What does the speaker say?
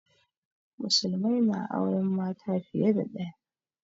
Musulmai na auren mace fiye da ɗaya